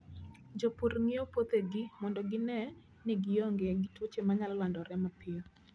Jopur ng'iyo puothegi mondo gine ni gionge gi tuoche manyalo landore mapiyo.